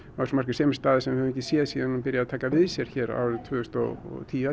sem er staða sem við höfum ekki séð síðan hann byrjaði að taka við sér árið tvö þúsund og tíu